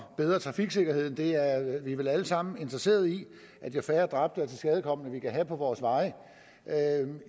bedre trafiksikkerheden det er vi vel alle sammen interesseret i jo færre dræbte og tilskadekomne vi kan have på vores veje